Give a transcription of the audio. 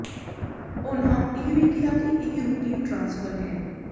ਉਨ੍ਹਾਂ ਇਹ ਵੀ ਕਿਹਾ ਹੈ ਕਿ ਇਹ ਰੁਟੀਨ ਟਰਾਂਸਫਰ ਹੈ